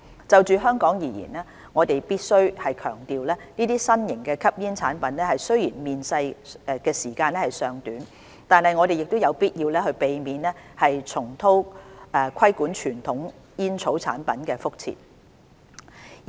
就香港而言，我們必須強調這些新型吸煙產品雖然面世時間尚短，但我們有必要避免重蹈規管傳統煙草產品的覆轍。